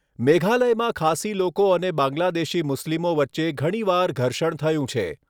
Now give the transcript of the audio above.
મેઘાલયમાં ખાસી લોકો અને બાંગ્લાદેશી મુસ્લિમો વચ્ચે ઘણીવાર ઘર્ષણ થયું છે.